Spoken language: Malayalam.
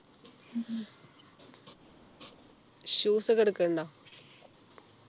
shoes ഒക്കെ എടുക്കുണ്ടോ